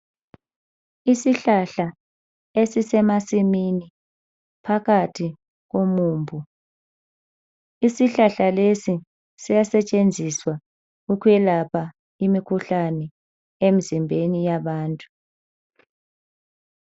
Isihlahla esisemasimini phakathi komumbu. Isihlahla lesi siyasetshenziswa ukwelapha imikhuhlane emzimbeni yabantu.